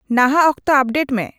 ᱱᱟᱦᱟᱜ ᱚᱠᱛᱚ ᱟᱯᱰᱮᱴ ᱢᱮ